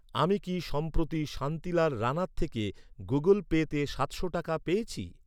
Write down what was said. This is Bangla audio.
আমি কি সম্প্রতি শান্তিলাল রাণার থেকে গুগল পেতে সাতশো টাকা পেয়েছি?